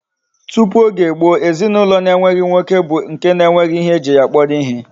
Tupu Oge gboo, ezinaulo na enweghi nwoke bu nke na enweghi ihe eji ya kporo ihe